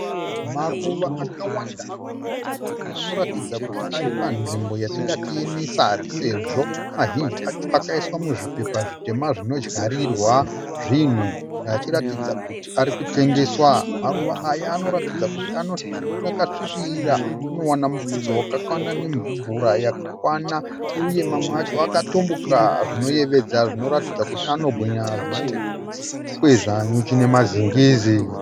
Maruva akawanda anoratidza kuti ari panzvimbo yatingati yenesari sezvo mazhinji acho akaiswa muzvipepa zvitema zvinodyarirwa zvinhu achiratidza kuti ari kutengeswa. Maruva aya anoratidza kuti akasvibira anowana mufudze wakakwana nemura yakakwana uye mamwe acho akatambuka zvinoyeveda zvinoratidza kuti ano hwinya zvinokwezva nyuchi nemazingizi.